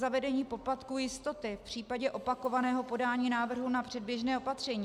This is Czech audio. Zavedení poplatku jistoty v případě opakovaného podání návrhu na předběžné opatření.